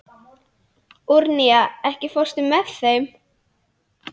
Úranía, ekki fórstu með þeim?